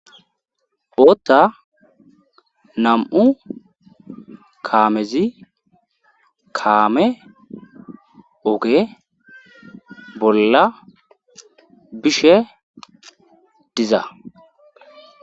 bootta nam7u kaamezi kaame oge bolla bishe diza